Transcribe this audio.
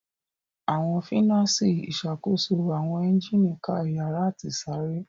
Awọn finasi išakoso awọn engine ká iyara ati isare.